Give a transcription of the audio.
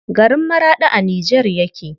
Garin Maraɗi a Nijar yake.